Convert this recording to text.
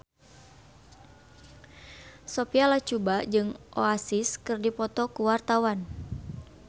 Sophia Latjuba jeung Oasis keur dipoto ku wartawan